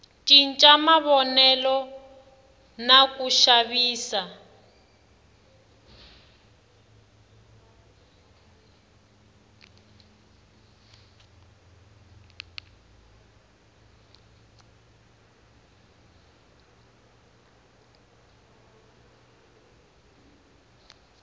cinca mavonelo na ku xavisa